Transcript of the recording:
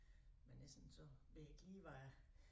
Men essen så ved jeg ikke lige hvad